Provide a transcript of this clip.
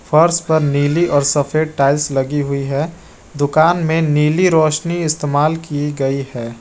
फर्श पर नीली और सफेद टाइल्स लगी हुई है दुकान में नीली रोशनी इस्तेमाल की गई है।